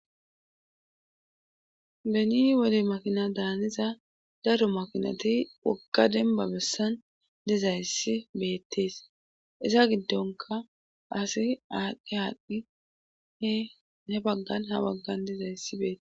beni woli makina daaniza daru makinati wogga demba bessan dizayssi beettees iza giddonka asi aadhdi haaqdhi he he baggan ha baggan dizayssi beette